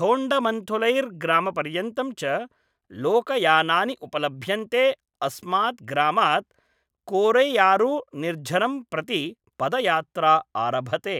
थोण्डमन्थुरैग्रामपर्यन्तं च लोकयानानि उपलभ्यन्ते अस्मात् ग्रामात् कोरैयारुनिर्झरं प्रति पदयात्रा आरभते।